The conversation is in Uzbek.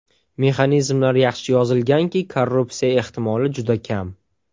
Mexanizmlar yaxshi yozilganki, korrupsiya ehtimoli juda kam.